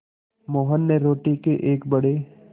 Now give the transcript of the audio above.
मोहन ने रोटी के एक बड़े